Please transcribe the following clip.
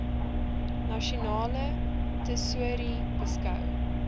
nasionale tesourie beskou